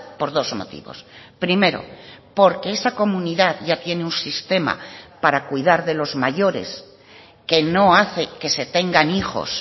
por dos motivos primero porque esa comunidad ya tiene un sistema para cuidar de los mayores que no hace que se tengan hijos